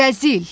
Rəzil!